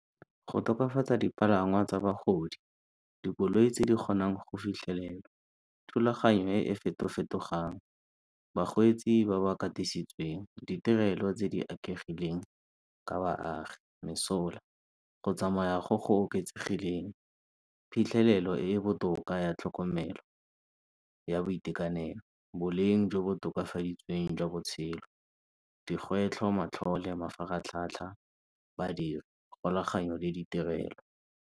Go tokafatsa dipalangwa tsa bagodi, dikoloi tse di kgonang go fitlhelela, thulaganyo e e feto-fetogang, bakgweetsi ba ba katositsweng, ditirelo tse di ka baagi mesola, go tsamaya go go oketsegileng, phitlhelelo e e botoka ya tlhokomelo ya boitekanelo, boleng jo bo tokafaditsweng jwa botshelo, digwetlho, matlhole, mafaratlhatlha, badiri, le ditirelo.